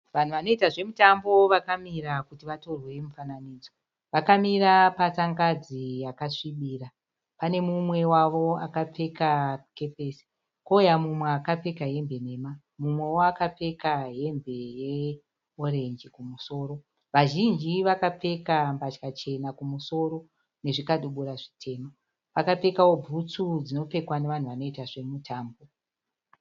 Vanhu vanoita zvemutambo vakamira kuti vatorwe mufananidzo. Vakamira patsangadzi yakasvibira. Pane mumwe wavo akapfeka kepesi, kouuya mumwe akapfeka hembe nhema mumwewo akapfeka hembe yeorenji kumusoro. Vazhinji vakapfeka mbatya chena kumusoro nezvikadubura zvitema. Vakapfekawo butsu dzinopfekwa nevanhu vanoita zvemutambo.